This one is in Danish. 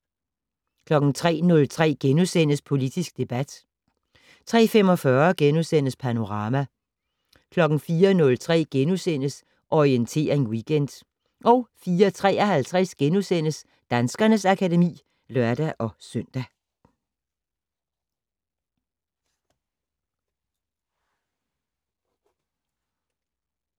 03:03: Politisk debat * 03:45: Panorama * 04:03: Orientering Weekend * 04:53: Danskernes akademi *(lør-søn)